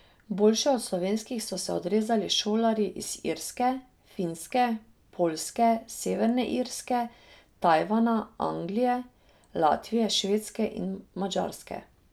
Boljše od slovenskih so se odrezali šolarji iz Irske, Finske, Poljske, Severne Irske, Tajvana, Anglije, Latvije, Švedske in Madžarske.